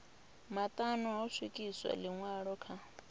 maṱanu ho swikiswa ḽiṅwalo kha